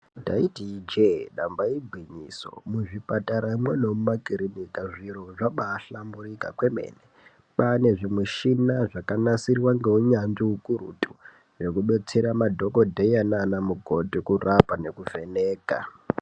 Ndati ijee damba igwinyiso, muzvipatara mumwe nemumakiriniki zviro zvabaa svamburika kwemene, pane zvimushina zvakabaa nasirwa ngeunyanzvi ukurutu zvekubetsera madhokodheya nana mukokhoti kurapa nekuvheneka.